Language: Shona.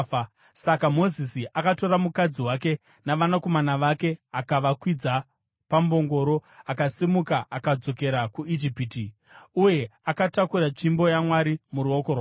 Saka Mozisi akatora mukadzi wake navanakomana vake akavakwidza pambongoro akasimuka akadzokera kuIjipiti. Uye akatakura tsvimbo yaMwari muruoko rwake.